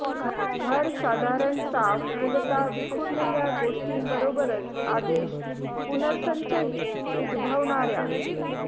घर साधारण साफ मूलतः विखुरलेल्या गोष्टींबरोबरच आदेश पुनर्संचयित उद्भवणाऱ्या